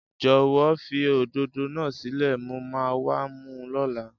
Jòwó fi òdòdó náà sílè, mo ma wá mu lóla